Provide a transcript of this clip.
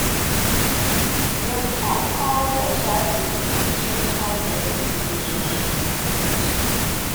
dem talk how their childhood take change how dem see relationships and trust.